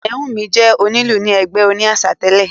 Ayanwunmi jẹ́ onílù ni ẹgbẹ́ òní àṣà tẹ̀lé